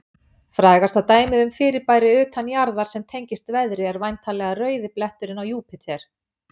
Frægasta dæmið um fyrirbæri utan jarðar sem tengist veðri er væntanlega rauði bletturinn á Júpíter.